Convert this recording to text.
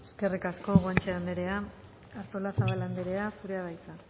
eskerrik asko guanche anderea artolazabal anderea zurea da hitza